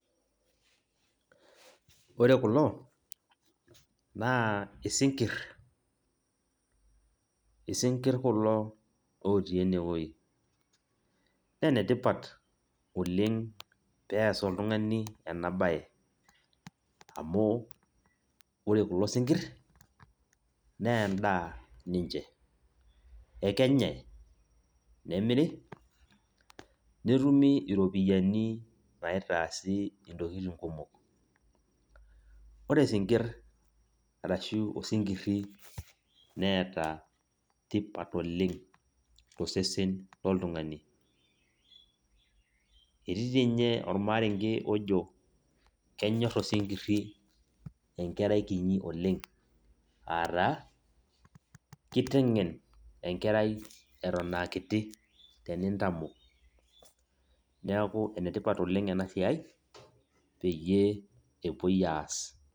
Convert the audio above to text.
Ore kulo, naa isinkirr. Isinkirr kulo otii enewoi. Nenetipat oleng pees oltung'ani enabae. Amu, ore kulo sinkirr, neendaa ninche. Ekenyai, nemiri, netumi iropiyiani naitaasi intokiting kumok. Ore sinkirr arashu osinkirri neeta tipat tosesen loltung'ani. Etii tinye ormarenke ojo, kenyor osinkirri enkerai kinyi oleng. Ataa, kiteng'en enkerai eton akiti tenintamok. Neeku enetipat oleng enasiai, peyie epuoi aas.